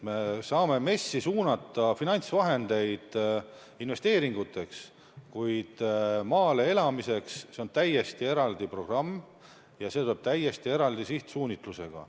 Me saame MES-i kaudu suunata finantsvahendeid investeeringuteks, kuid maal elamise soodustamiseks on täiesti eraldi programm ja see tuleb täiesti eraldi sihtsuunitlusega.